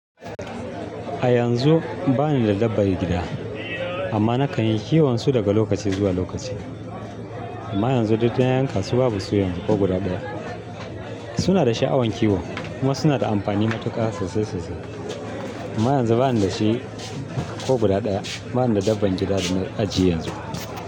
A yanzu bani da dabban gida amma nakan yi kiwon su daga lokaci zuwa lokaci. Amma yanzu duk na yankasu babu su ko guda guda. Suna da sha'awan kiwo kuma suna da amfani matuƙa sosai sosai. Amma yanzu bani da shi ko guda ɗaya. Bani da dabban gida da na ajiye yanzu.